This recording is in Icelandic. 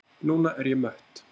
Núna er ég mött.